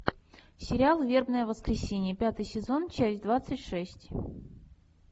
сериал вербное воскресенье пятый сезон часть двадцать шесть